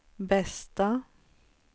bästa